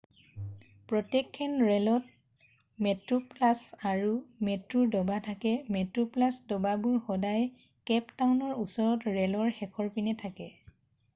প্ৰত্যেকখন ৰে'লত মেট্ৰোপ্লাছ আৰু মেট্ৰোৰ ডবা থাকে মেট্ৰোপ্লাছ ডবাবোৰ সদায় কেপ টাউনৰ ওচৰত ৰে'লৰ শেষৰপিনে থাকে